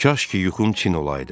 Kaş ki, yuxum çin olaydı.